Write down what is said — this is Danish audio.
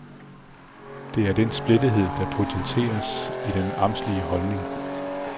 Det er den splittethed der potenseres i den amtslige holdning.